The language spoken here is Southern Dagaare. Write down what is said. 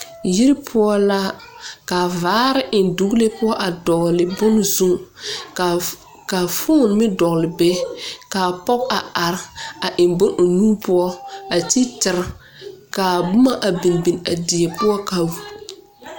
Yiri pou la ka vaare en dɔglee puo a dɔgli bun zu ka foon meng dɔgli be ka pɔg a arẽ a en bun ɔ nu puo a te tiri ka a buma a binbin a deɛ pou ka.